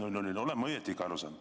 Olen ma ikka õigesti aru saanud?